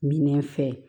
Minɛn fɛ